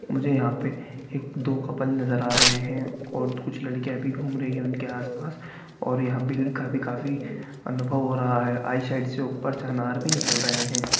मुझे यहाँ पर एक दो कपल नज़र आ रहे हैं और कुछ लड़कियाँ भी घूम रही हैं उनके आस पास और यहाँ बिजली का भी काफी अनुभव हो रहा है आई शेड से ऊपर अनार भी निकल रहे है।